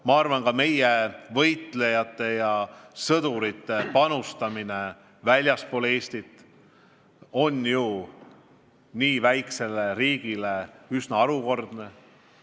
Ma arvan, et meie võitlejate panus väljaspool Eestit on nii väikse riigi kohta üsna harukordne.